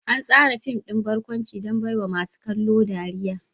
An tsara fim ɗin barkwanci don baiwa masu kallo ɗariya.